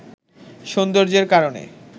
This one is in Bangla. সৌন্দর্যের কারণে